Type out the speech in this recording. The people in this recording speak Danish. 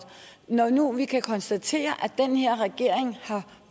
når nu vi kan konstatere at regering har